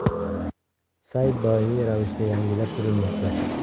Sayt doimiy ravishda yangilab turilmoqda.